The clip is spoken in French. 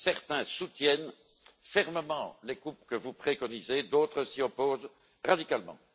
Certains soutiennent fermement les coupes que vous préconisez, d'autres s'y opposent radicalement.